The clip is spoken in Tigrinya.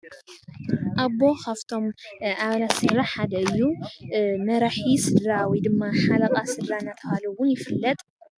ኣቦ ካፍቶም ኣባላት ስድራ ሓደ እዩ። መራሒ ስድራ ወይ ድማ ሓለቓ ስድራ እናተባሃለ ውን ይፍለጥ።